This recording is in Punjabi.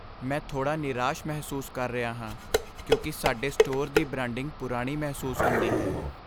ਮੈਂ ਥੋੜ੍ਹਾ ਨਿਰਾਸ਼ ਮਹਿਸੂਸ ਕਰ ਰਿਹਾ ਹਾਂ ਕਿਉਂਕਿ ਸਾਡੇ ਸਟੋਰ ਦੀ ਬ੍ਰਾਂਡਿੰਗ ਪੁਰਾਣੀ ਮਹਿਸੂਸ ਹੁੰਦੀ ਹੈ।